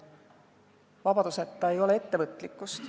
Vabaduseta ei ole ettevõtlikkust.